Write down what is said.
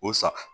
O sa